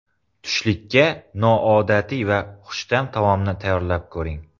Tushlikka noodatiy va xushta’m taomni tayyorlab ko‘ring.